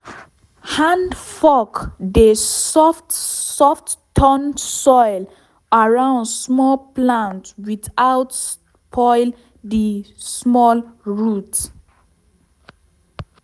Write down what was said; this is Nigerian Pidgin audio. hand fork dey soft soft turn soil around small plant without spoil the small root.